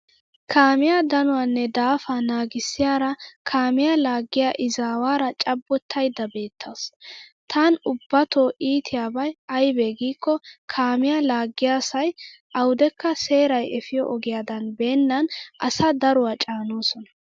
Kaamiya danuwaanne daafaa naagissiyaaraa kaamiya laaggiya izawaara cabbottaydda beettawusu. Tan ubbatoo iitiyabay aybee giikko kaamiya laaggiya say awudekka seeray efiyo ogiyaadan beennan asaa daruwa caanoosona.